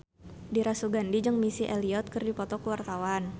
Dira Sugandi jeung Missy Elliott keur dipoto ku wartawan